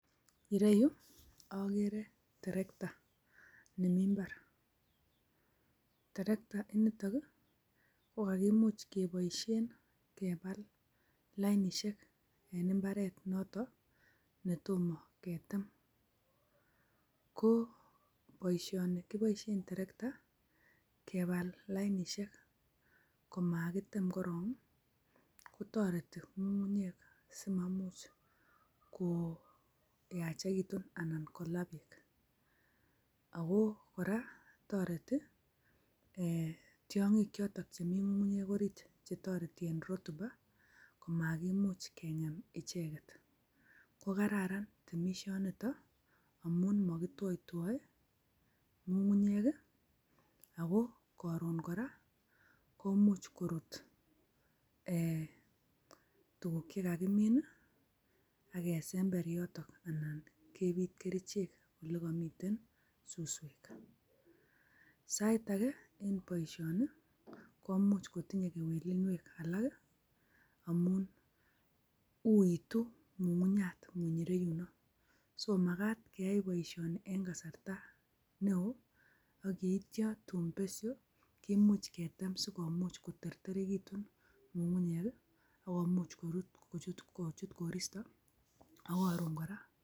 Ireyu akere terekta nemi mbar, terektainitok ii, ko kakimuch keboisien kebal lainisiek en imbaret noto netomo ketem, ko boisioni kiboisie terekta kebal lainisiek ko makitem korok ii, kotoreti ngungunyek simamuch koyachekitun anan kola beek, ako kora toreti um tiongik chotok chemi ngungunyek orit che toreti en rutuba komakimuch kengem icheket, ko kararan temisionito amun makitwoitwoi ngugunyek ii ako karon kora komuch korut um tukuk che kakimin ii akesember yotok anan kepit kerichek olekamiten suswek, sait ake en boisioni, komuch kotinye kewelinwek alak amun uuitu ngungunyat ngunyireyuno, so makat keyai boisioni en kasarta ne oo, akeityo tun besio kimuch ketem sikomuch koterterekitun ngungunyek ii akomuch kochut koristo ak karon kora....